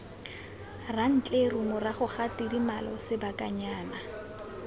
rantleru morago ga tidimalo sebakanyana